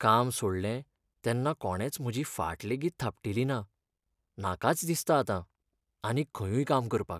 काम सोडलें तेन्ना कोणेच म्हजी फाट लेगीत थापटिली ना, नाकाच दिसता आतां आनीक खंयूय काम करपाक.